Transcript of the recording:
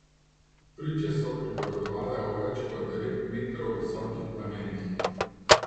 Priče so pripovedovale o več kot devet metrov visokih plamenih.